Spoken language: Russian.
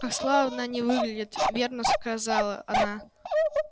как славно они выглядят верно сказала она